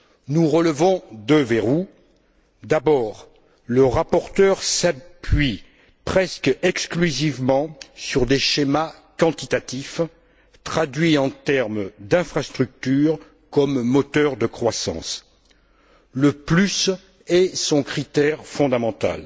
Nous relevons deux verrous d'abord, le rapporteur s'appuie presque exclusivement sur des schémas quantitatifs traduits en termes d'infrastructure comme moteur de croissance, le plus est son critère fondamental.